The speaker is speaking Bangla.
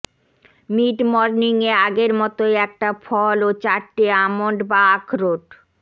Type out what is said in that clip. মিডমর্নিংয়ে আগের মতোই একটা ফল ও চারটে আমন্ড বা আখরোট